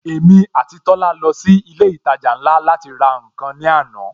Èmi àti Tola lọ sí ilé ìtajà ńlá láti ra nkan ní àná